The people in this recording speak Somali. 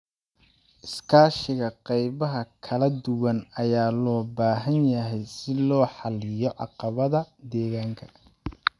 Iskaashiga qaybaha kala duwan ayaa loo baahan yahay si loo xalliyo caqabadaha deegaanka.